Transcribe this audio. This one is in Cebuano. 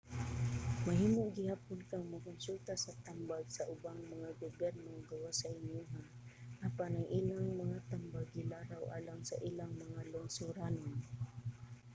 mahimo gihapon kang mokonsulta sa tambag sa ubang mga gobyerno gawas sa inyoha apan ang ilang mga tambag gilaraw alang sa ilang mga lungsoranon